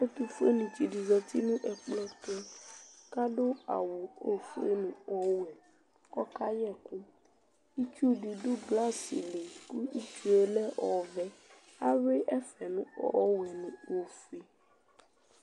Ɛtʋfuenɩ tsɩ dɩ zati nʋ ɛkplɔ tʋ kʋ adʋ awʋ ofue nʋ ɔwɛ kʋ ɔkayɛ ɛkʋ Itsu dɩ dʋ glasɩ li kʋ itsu yɛ lɛ ɔvɛ Ayʋɩ ɛfɛ nʋ ɔwɛ nʋ ofue